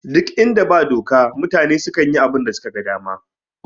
Ɗuk inda ba doka mutane sukan yi abunda suka ga dama